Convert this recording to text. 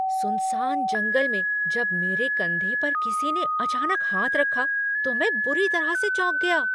सुनसान जंगल में जब मेरे कंधे पर किसी ने अचानक हाथ रखा तो मैं बुरी तरह से चौंक गया।